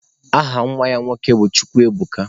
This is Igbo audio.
Aha nwa ya nwoke bụ Chukwuebuka.